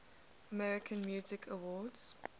american music awards